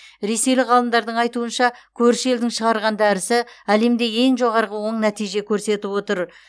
ресейлік ғалымдардың айтуынша көрші елдің шығарған дәрісі әлемде ең жоғарғы оң нәтиже көрсетіп отыр